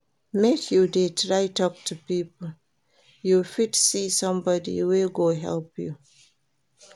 Make you dey try tok to people, you fit see somebodi wey go help you.